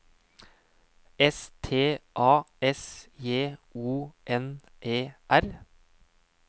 S T A S J O N E R